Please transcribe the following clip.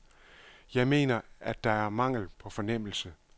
Jeg mener, at det er mangel på fornemmelse.